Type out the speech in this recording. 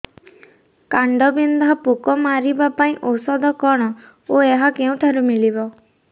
କାଣ୍ଡବିନ୍ଧା ପୋକ ମାରିବା ପାଇଁ ଔଷଧ କଣ ଓ ଏହା କେଉଁଠାରୁ ମିଳିବ